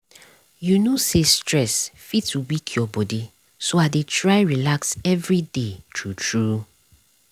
you know say stress fit weak your body so i dey try relax every day true true.